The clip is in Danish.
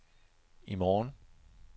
i morgen